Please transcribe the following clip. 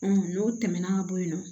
n'o tɛmɛna ka bɔ yen nɔ